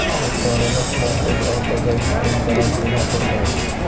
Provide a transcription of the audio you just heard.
Ostonada Markaziy Osiyodagi eng baland bino quriladi.